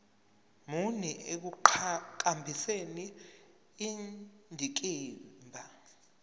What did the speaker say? muni ekuqhakambiseni indikimba